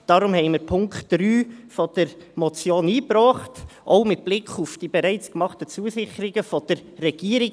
Deshalb haben wir den Punkt 3 der Motion eingebracht, auch mit Blick auf die bereits gemachten Zusicherungen der Regierung.